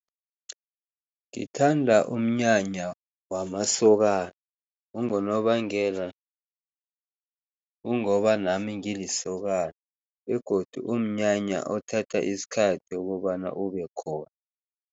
Ngithanda umnyanya wamasokana. Kungonobangela kungoba nami ngilisokana begodu kumnyanya othatha isikhathi ukobana ubekhona.